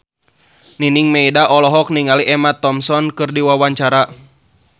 Nining Meida olohok ningali Emma Thompson keur diwawancara